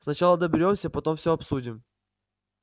сначала доберёмся потом все обсудим